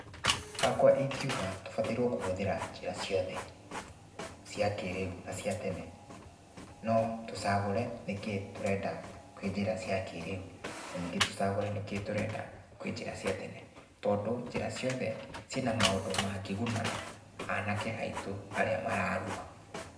Hakwa ingiuga tũbatairwo kũhũthĩra njĩra ciothe, cia kĩrĩu na cia tene. No tũcagũre nĩkĩĩ tũrenda kwĩ njĩra cia kĩrĩu. Na ningĩ tũcagũre nĩkĩĩ tũrenda kwĩ njĩra cia tene. Tondũ njĩra ciothe, ciĩ na maũndũ mangĩguna anake aitũ arĩa mararua.